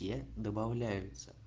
я добавляется